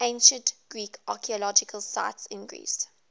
ancient greek archaeological sites in greece